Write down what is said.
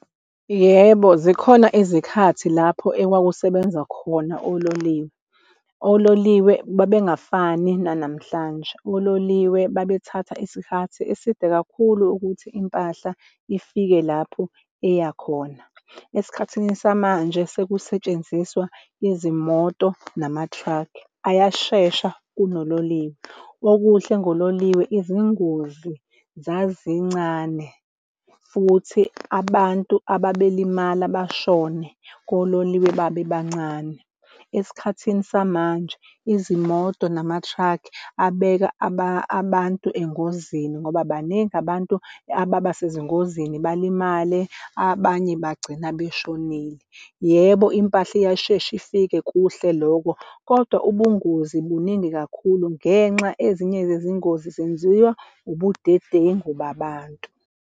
Yebo, zikhona izikhathi lapho ekwakusebenza khona ololiwe. Ololiwe, babengafani nanamhlanje ololiwe babethatha isikhathi eside kakhulu ukuthi impahla ifike lapho eyakhona. Esikhathini samanje, sekusetshenziswa izimoto nama-truck ayashesha, kunololiwe. Okuhle ngololiwe, izingozi zazincane futhi abantu ababelimala bashone kololiwe babe bancane. Esikhathini samanje izimoto nama-truck abeka abantu engozini ngoba baningi abantu ababa sezingozini balimale, abanye bagcina beshonile. Yebo, impahla iyashesha ifike kuhle loko, kodwa ubungozi buningi kakhulu ngenxa ezinye zezingozi zenziwa ubudedengu babantu.